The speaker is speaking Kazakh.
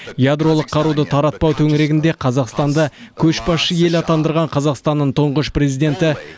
ядролық қаруды таратпау төңірегінде қазақстанды көшбасшы ел атандырған қазақстанның тұңғыш президенті